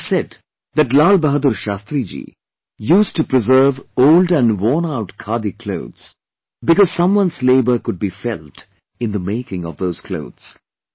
It is said that LalBahadurShastriji used to preserve old and worn out Khadi clothes because some one's labour could be felt in the making of those clothes